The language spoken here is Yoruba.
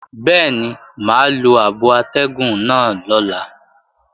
Bẹ́ẹ̀ni mà á lo abo atẹ́gùn náà lọ́la